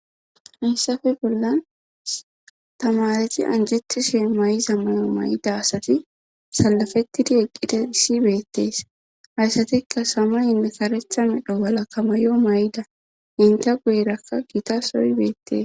hayssafe bollan tamareti anjeti shee may7iza mayo may7ida asati salafettidi eqqide issi beettees hayssatikka sama yinne karectha medho bala kamayo may7da inta guerakka gita soyi beettees